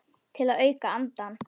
Til að auka andann.